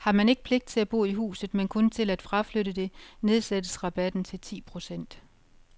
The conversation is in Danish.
Har man ikke pligt til at bo i huset, men kun til at fraflytte det, nedsættes rabatten til ti procent.